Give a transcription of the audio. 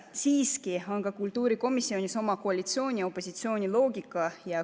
Siiski on ka kultuurikomisjonis oma koalitsiooni ja opositsiooni loogika.